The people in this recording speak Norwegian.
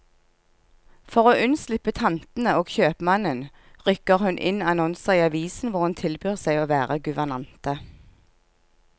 For å unnslippe tantene og kjøpmannen, rykker hun inn annonser i avisen hvor hun tilbyr seg å være guvernante.